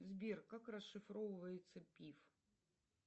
сбер как расшифровывается пиф